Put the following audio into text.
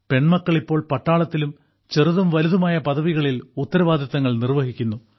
പെൺമക്കൾ ഇപ്പോൾ പട്ടാളത്തിലും ചെറുതും വലുതുമായ പദവികളിൽ ഉത്തരവാദിത്തങ്ങൾ നിർവഹിക്കുന്നു